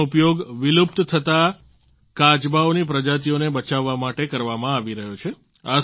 તેમનો ઉપયોગ વિલુપ્ત થતા કાચબાઓને પ્રજાતિઓને બચાવવા માટે કરવામાં આવી રહ્યો છે